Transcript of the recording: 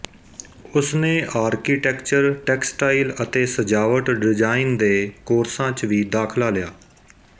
ਉਸ ਨੇ architecture textile ਅਤੇ ਸਜਾਵਟ ਡਿਜ਼ਾਈਨ ਦੇ ਕੋਰਸਾਂ ਚ ਵੀ ਦਾਖਲਾ ਲਿਆ